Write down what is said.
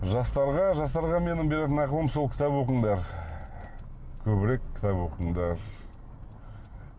жастарға жастарға менің беретін ақылым сол кітап оқыңдар көбірек кітап оқыңдар